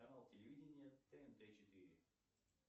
канал телевидения тнт четыре